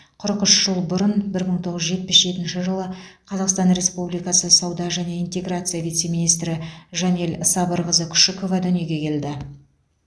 қырық үш жыл бұрын бір мың тоғыз жүз жетпіс жетінші жылы қазақстан республикасы сауда және интеграция вице министрі жанель сабырқызы күшікова дүниеге келді